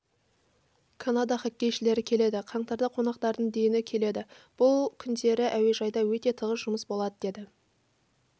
канада хоккейшілері келеді қаңтарда қонақтардың дені келеді бұл күндері әуежайда өте тығыз жұмыс болады деді